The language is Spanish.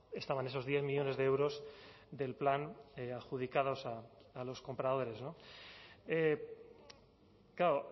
estaban esos diez millónes de euros del plan adjudicados a los compradores claro